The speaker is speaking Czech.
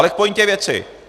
Ale k pointě věci.